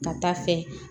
Ka taa fɛ